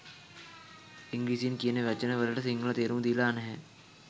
ඉංග්‍රීසියෙන් කියන වචන වලට සිංහල තේරුම දීලා නැහැ